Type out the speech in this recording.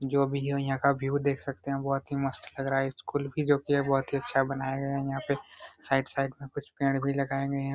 जो भी है यहाँ का व्यू देख सकते है बहुत ही मस्त लग रहा है स्कूल भी जो की बहुत अच्छा बनाया गया है साइड साइड पर कुछ पेड़ भी लगाए गए हैं।